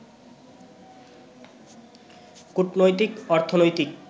কূটনৈতিক, অর্থনৈতিক